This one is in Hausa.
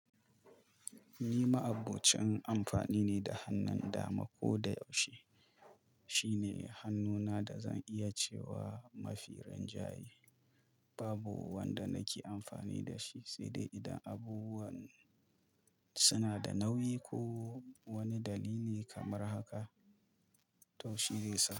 Ni ma'abbocin amfani ne da hannun dama ko da yaushe. Shine hannuna da zan iya cewa mafi rinjaye. Babu wanda nake amfani da shi, sai dai idan abubuwan suna da nauyi ko wani dalili kamar haka, taushe zai sa.